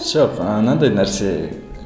жоқ ы мынандай нәрсе